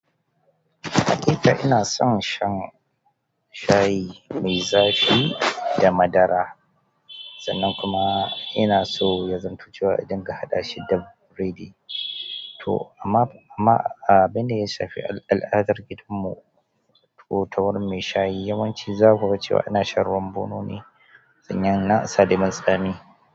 Haƙiƙa ina son shan shayi mai zafi da madara, sannan kuma ina so ya zamance wa idin ka haɗa shi da biredi. To amma, amma abinda yasa tafiyar al'adar gidanmu, ko ta wurin mai shayi, yawanci za ku ga cewa ina shan ruwan bono ni domin nasa lemon tsami.